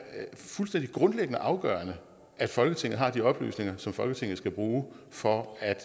fuldstændig grundlæggende afgørende at folketinget har de oplysninger som folketinget skal bruge for at